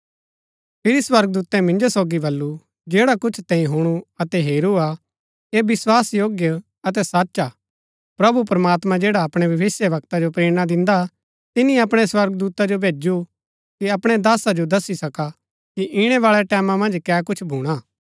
फिरी स्वर्गदूतै मिन्जो सोगी बल्लू जैड़ा कुछ तैंई हुणु अतै हेरू हा ऐह विस्वासयोग्य अतै सच हा प्रभु प्रमात्मां जैड़ा अपणै भविष्‍यवक्ता जो प्रेरणा दिन्दा हा तिनी अपणै स्वर्गदूता जो भैजु कि अपणै दासा जो दसी सका कि इणै बाळै टैमां मन्ज कै कुछ भूणा हा